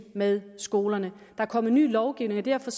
med skolerne der er kommet ny lovgivning og derfor